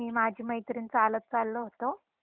मी माझी मैत्रीण चालत चाललो होतो